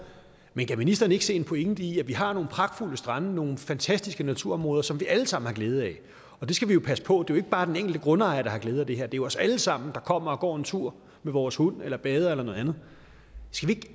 men kan ministeren ikke se en pointe i at vi har nogle pragtfulde strande nogle fantastiske naturområder som vi alle sammen har glæde af det skal vi jo passe på det er jo ikke bare den enkelte grundejer der har glæde af det her det er os alle sammen der kommer og går en tur med vores hund eller bader eller noget andet skal vi